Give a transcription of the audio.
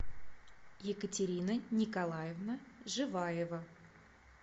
екатерина николаевна живаева